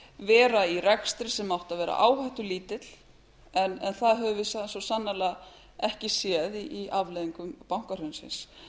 vera í rekstri sem átti að vera áhættulítill en það höfum við svo sannarlega ekki séð í afleiðingum bankahrunsins